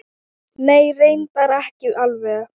Nei. reyndar ekki alveg.